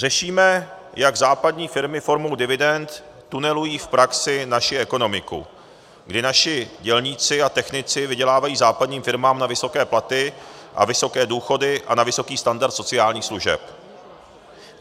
Řešíme, jak západní firmy formou dividend tunelují v praxi naši ekonomiku, kdy naši dělníci a technici vydělávají západním firmám na vysoké platy a vysoké důchody a na vysoký standard sociálních služeb.